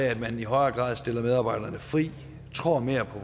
at man i højere grad stiller medarbejderne fri og tror mere på